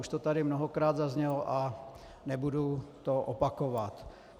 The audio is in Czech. Už to tady mnohokrát zaznělo a nebudu to opakovat.